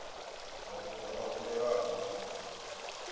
mafhungo a humbelwaho nga muṅwe